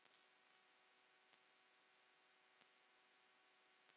Blessuð sé minning Lillu frænku.